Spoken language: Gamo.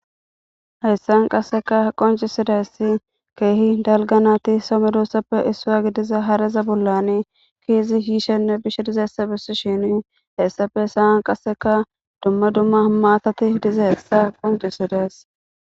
hessan qasseka qoncisidaysi keehi dalganati somedossappe issua gidiza haraza bollani keezi hiishenne bishe dizaessa bessi shini heessafe hesaan qasseka dumma dumma maatati diza essa qoncisidays